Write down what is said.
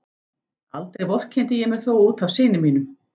Aldrei vorkenndi ég mér þó út af syni mínum.